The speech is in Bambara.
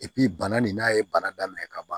bana nin n'a ye bana daminɛ ka ban